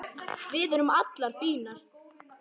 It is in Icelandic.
Við erum allar fínar